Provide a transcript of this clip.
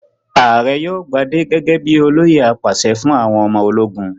Ààrẹ yóò gbadé gẹ́gẹ́ bí i olóyè apàṣẹ fún àwọn ọmọ ológun.